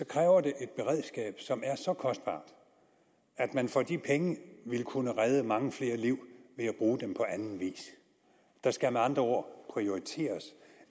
kræver det et beredskab som er så kostbart at man for de penge ville kunne redde mange flere liv ved at bruge dem på anden vis der skal med andre ord prioriteres